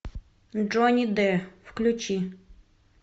джонни д включи